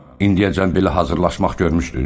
İndiyəcən belə hazırlaşmaq görmüşdün?